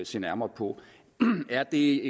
se nærmere på er det